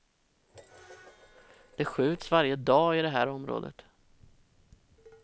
Det skjuts varje dag i det här området.